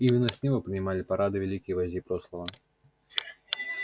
именно с него принимали парады великие вожди прошлого